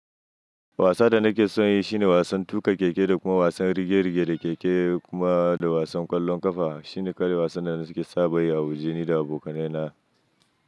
Wasa da nake son yi shine wasan tuƙa keke da kuma wasan rige-rige da keke kuma da wasan ƙwallon ƙafa. Shine ƙawai wasan da nake saba yi a waje ni da abokanai na.